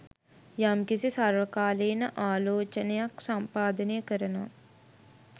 යම්කිසි සර්වකාලීන ආලෝචනයක් සම්පාදනය කරනවා